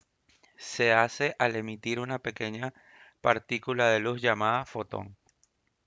se hace al emitir una pequeña partícula de luz llamada «fotón»